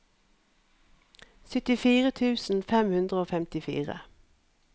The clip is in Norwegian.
syttifire tusen fem hundre og femtifire